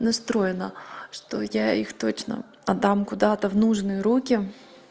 настроена что я их точно отдам куда-то в нужные руки